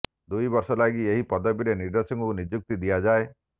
ଦୁଇ ବର୍ଷ ଲାଗି ଏହି ପଦବୀରେ ନିର୍ଦ୍ଦେଶକଙ୍କୁ ନିଯୁକ୍ତି ଦିଆଯାଏ